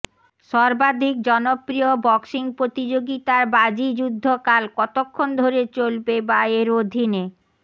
সর্বাধিক জনপ্রিয় বক্সিং প্রতিযোগিতার বাজি যুদ্ধকাল কতক্ষণ ধরে চলবে বা এর অধীনে